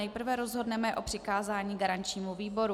Nejprve rozhodneme o přikázání garančnímu výboru.